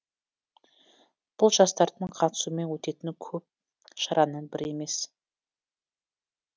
бұл жастардың қатысуымен өтетін көп шараның бірі емес